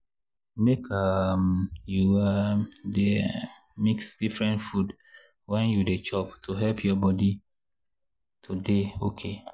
make um you um dey um mix different food when you dey chop to help your body. to dey okay